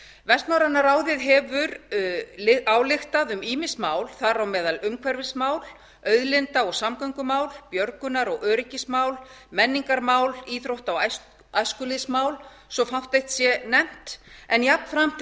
vestnorræna ráðið hefur ályktað um ýmis mál þar á meðal umhverfismál auðlinda og samgöngumál björgunar og öryggismál menningarmál íþrótta og æskulýðsmál svo fátt eitt sé nefnt en jafnframt